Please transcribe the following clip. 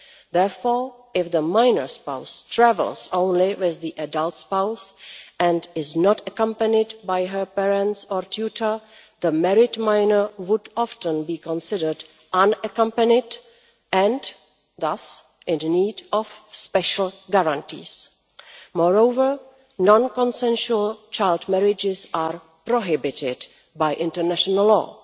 Therefore, if the minor spouse travels only with the adult spouse and is not accompanied by her parents or tutor, the married minor would often be considered unaccompanied and thus in need of special guarantees. Moreover, non-consensual child marriages are prohibited by international law.